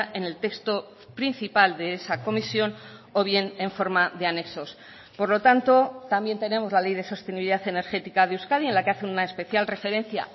en el texto principal de esa comisión o bien en forma de anexos por lo tanto también tenemos la ley de sostenibilidad energética de euskadi en la que hace una especial referencia